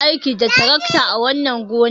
Za mu yi aiki da tarakta a wannan gonar.